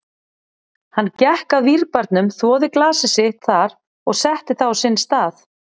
Hann gekk að vínbarnum, þvoði glasið sitt þar og setti það á sinn stað.